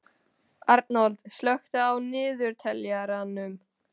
Arnold, slökktu á niðurteljaranum.